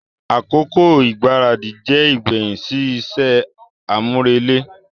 Akoko igbaradi jẹ igbẹhin si iṣẹ amurele.